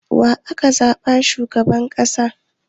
Wa aka zaɓa shugaban ƙasa?